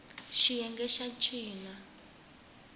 xiyenge xa c xi na